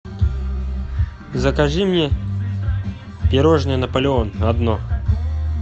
закажи мне пирожное наполеон одно